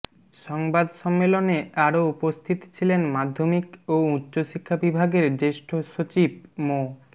সংবাদ সম্মেলনে আরও উপস্থিত ছিলেন মাধ্যমিক ও উচ্চ শিক্ষা বিভাগের জ্যেষ্ঠ সচিব মো